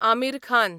Aamir Khan